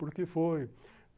Por que foi?